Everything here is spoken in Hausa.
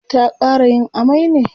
ta ƙara yin amai ne?